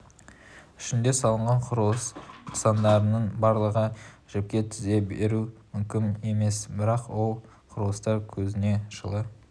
ішінде салынған құрылыс нысандарының барлығын жіпке тізе беру мүмкін емес бірақ сол құрылыстар көзіңе жылы